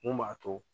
Mun b'a to